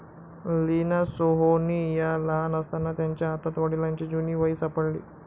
लीना सोहोनी या लहान असताना त्यांच्या हातात वडिलांची जुनी वही सापडली.